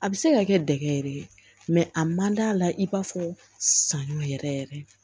A bɛ se ka kɛ dɛgɛ yɛrɛ ye a man d'a la i b'a fɔ saɲɔ yɛrɛ yɛrɛ